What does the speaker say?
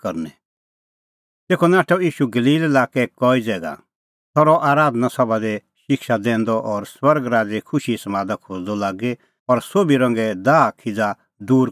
तेखअ नाठअ ईशू गलील लाक्कै कई ज़ैगा सह रहअ आराधना सभा दी शिक्षा दैंदअ और स्वर्ग राज़े खुशीए समादा खोज़दअ लागी और सोभी रंगे दाहखिज़ा दूर करदअ लागी